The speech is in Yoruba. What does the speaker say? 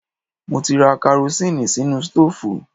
Mo ti ra karosín sínú stóòfù